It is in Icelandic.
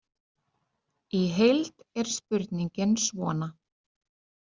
Í heild er spurningin svona